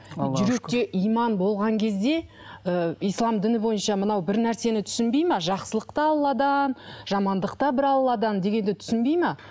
жүректе иман болған кезде ыыы ислам діні бойынша мынау бір нәрсені түсінбейді ме жақсылық та алладан жамандық та бір алладан дегенді түсінбейді ме